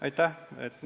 Aitäh!